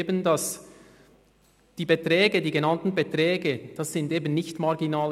Ich halte die genannten Beträge nicht für marginal.